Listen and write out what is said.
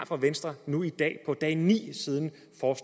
fra venstre nu i dag på dag ni siden